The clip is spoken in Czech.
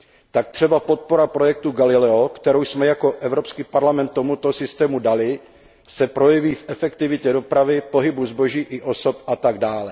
Tak třeba podpora projektu Galileo, kterou jsme jako EP tomuto systému dali, se projeví v efektivitě dopravy, pohybu zboží i osob atd.